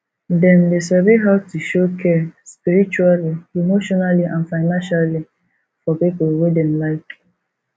dem de sabi how to show care spiritually emotionally and financially for pipo wey dem like